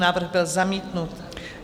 Návrh byl zamítnut.